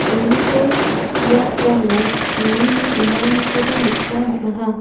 uniko biaprango surini dinanikoba nikna man·aha.